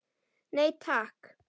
Nei takk.